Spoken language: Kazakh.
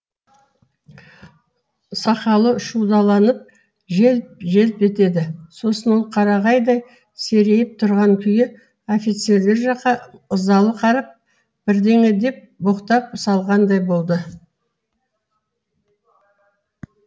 сақалы шудаланып желп желп етеді сосын ол қарағайдай серейіп тұрған күйі офицерлер жаққа ызалы қарап бірдеңе деп боқтап салғандай болды